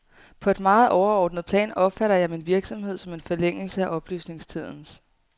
På et meget overordnet plan opfatter jeg min virksomhed som en forlængelse af oplysningstidens.